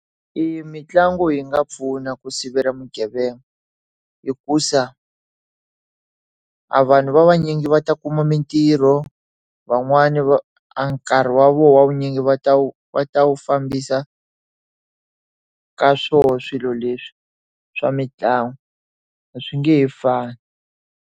E mitlangu yi nga pfuna ku sivela vugevenga hikuva a vanhu va vanyingi va ta kuma mintirho, van'wani a nkarhi wa vona wa vunyingi va ta wu va ta wu fambisa ka swoho swilo leswi swa mitlangu, a swi nge he fani.